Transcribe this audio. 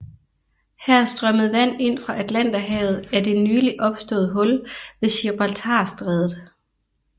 Her strømmede vand ind fra Atlanterhavet af det nyligt opståede hul ved Gibraltarstrædet